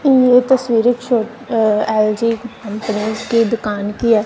ये तस्वीर एक शॉप अ एल_जी की दुकान की है।